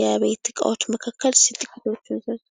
የቤት እቃዎች መካከል እስኪ ጥቂቶቹን ጥቀሱ::